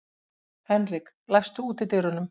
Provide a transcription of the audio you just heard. Henrik, læstu útidyrunum.